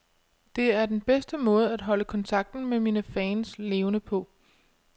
Det er den bedste måde at holde kontakten med mine fans levende på.